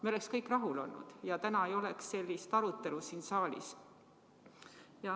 Me oleks kõik rahul olnud ja täna ei oleks sellist arutelu siin saalis.